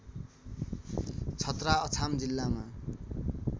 छतरा अछाम जिल्लामा